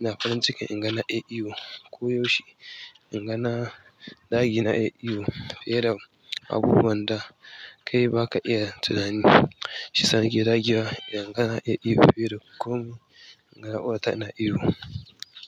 na farin ciki inga na iya iyo koyaushe. Inga na dage na iya iyo fiye da abubuwan da kai baka iya tunani. Shi sa nake dagewa inga na iya iyo fiye da komai. Inga na ƙawata ina iyo.